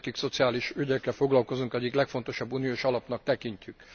Mi, akik szociális ügyekkel foglalkozunk, az egyik legfontosabb uniós alapnak tekintjük.